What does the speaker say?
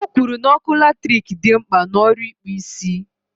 O kwuru na ọkụ latrik dị mkpa n' ọrụ ịkpụ isi